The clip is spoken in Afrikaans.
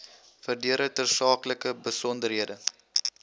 verdere tersaaklike besonderhede